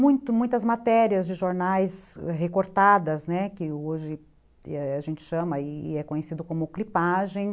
Muitas ,matérias de jornais recortadas, né, que hoje a gente chama e é conhecido como clipagem.